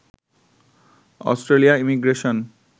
Australia immigration